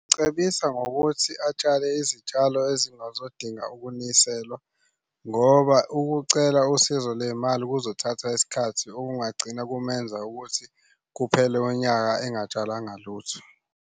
Cebisa ngokuthi atshale izitshalo ezingazodinga ukuniselwa ngoba ukucela usizo lwey'mali kuzothatha isikhathi okungagcina kumenza ukuthi kuphele unyaka engatshalanga lutho.